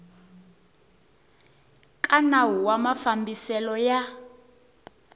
ka nawu wa mafambiselo ya